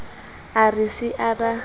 a re se a ba